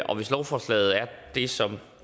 og hvis lovforslaget er det som